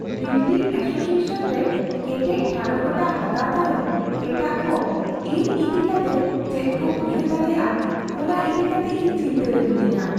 Building association ᱨᱮ ᱠᱮᱴᱮᱡ ᱴᱷᱟᱲᱚ ᱜᱚᱴᱟ ᱦᱟᱛᱟᱣ ᱛᱟᱭᱚᱢ ᱮᱴᱟᱜ ᱠᱚ ᱤᱧ ᱤᱫᱤ ᱠᱟᱛᱮ ᱪᱮᱫ ᱠᱚ ᱩᱭᱦᱟᱹᱨ ᱫᱟᱲᱮᱭᱟᱜᱼᱟ ᱚᱱᱟ ᱤᱫᱤ ᱠᱟᱛᱮ ᱤᱧ ᱪᱤᱱᱛᱟᱹ ᱨᱮ ᱢᱤᱱᱟᱹᱧᱟ ᱾